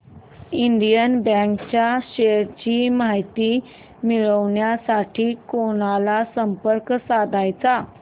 Indian bank च्या shares ची माहिती मिळविण्यासाठी कोणाला संपर्क साधायचा